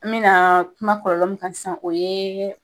N me na kuma kɔlɔlɔ min kan sisan o yee